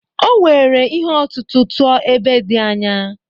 O were ihe ọ̀tụ̀tụ̀ tụọ ebe dị anya.